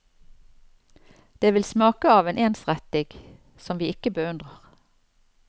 Det vil smake av en ensrettig som vi ikke beundrer.